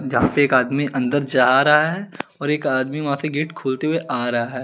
जापे एक आदमी अन्दर जारा है और एक आदमी वहा से गेट खोलते हुए आरा है।